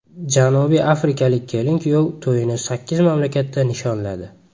Janubiy Afrikalik kelin-kuyov to‘yini sakkiz mamlakatda nishonladi .